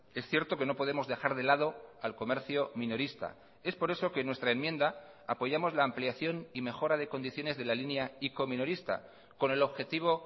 es cierto que no podemos dejar de lado al comercio minorista es por eso que en nuestra enmienda apoyamos la ampliación y mejora de condiciones de la línea ico minorista con el objetivo